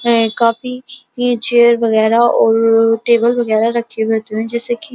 है काफी ये चेयर वगैरह और टेबल वगैरह रखे हुए हैं जैसे की --